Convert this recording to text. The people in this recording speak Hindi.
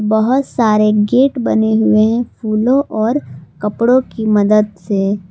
बहोत सारे गेट बने हुए हैं फूलों और कपड़ों की मदद से।